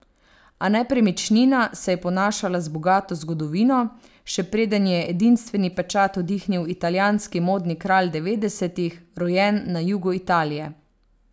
A nepremičnina se je ponašala z bogato zgodovino, še preden ji je edinstveni pečat vdihnil italijanski modni kralj devetdesetih, rojen na jugu Italije.